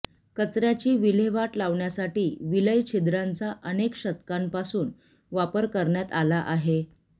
कचऱ्याची विल्हेवाट लावण्यासाठी विलयछिद्रांचा अनेक शतकांपासून वापर करण्यात आला आहे